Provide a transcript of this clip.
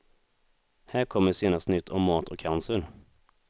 Här kommer senaste nytt om mat och cancer.